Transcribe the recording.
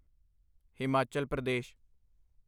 Himachal Pradesh